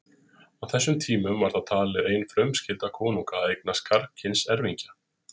Á þessum tímum var það talið ein frumskylda konunga að eignast karlkyns erfingja.